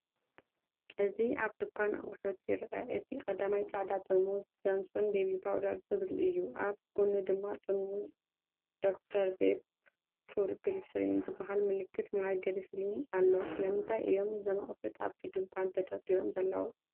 እዚ ኣብ ድኳን ኣቑሑት ይርአ። እቲ ቀዳማይ ጻዕዳ ጥርሙዝ “ጆንሶን ቤቢ ፓውደር” ዝብል እዩ። ኣብ ጎድኑ ድማ ጥርሙዝ “ዶክተር ኬር ፑር ግሊሰሪን” ዝበሃል ምልክት ማይ ግሊሰሪን ኣሎ። ስለምንታይ እዮም እዞም ኣቑሑት ኣብቲ ድኳን ተደርዲሮም ዘለው?